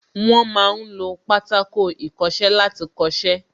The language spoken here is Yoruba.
Wọ́n ma ń lo Pátákó ìkọṣẹ́ láti kọ́ṣẹ́